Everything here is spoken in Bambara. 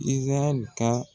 IZIRAYƐLI ka.